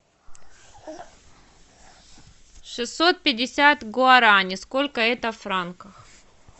шестьсот пятьдесят гуарани сколько это в франках